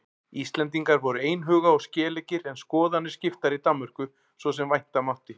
Íslendingar voru einhuga og skeleggir en skoðanir skiptar í Danmörku svo sem vænta mátti.